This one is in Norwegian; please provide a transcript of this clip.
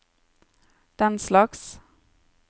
denslags